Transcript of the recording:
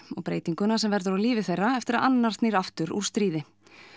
og breytinguna sem verður á lífi þeirra eftir að annar þeirra snýr aftur úr stríði